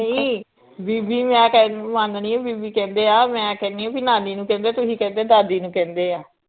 ਨਈ ਬੀਬੀ ਮੈ ਕਹਿਣ ਮਾਨਣੀ ਆ ਬੀਬੀ ਕਹਿੰਦੇ ਆ ਮੈ ਕਹਿੰਨੀ ਆ ਬੀ ਨਾਨੀ ਨੂੰ ਕਹਿੰਦੇ ਤੁਹੀ ਕਹਿੰਦੇ ਦਾਦੀ ਨੂੰ ਕਹਿੰਦੇ ਆ